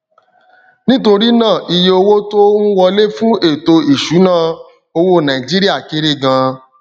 nítorí náà iye owó tó ń wọlé fún ètò ìṣúnná owó nàìjíríà kéré gan